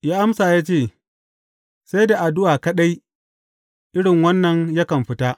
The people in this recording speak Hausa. Ya amsa ya ce, Sai da addu’a kaɗai irin wannan yakan fita.